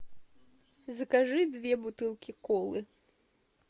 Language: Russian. закажи две бутылки колы